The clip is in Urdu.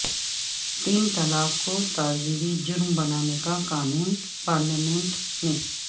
تین طلاق کو تعزیری جرم بنانے کا قانون پارلیمنٹ میں